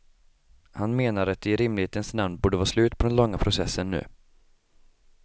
Han menar att det i rimlighetens namn borde vara slut på den långa processen nu.